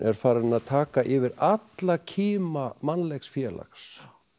farin að taka yfir alla kima mannlegs félags